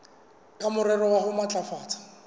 ka morero wa ho matlafatsa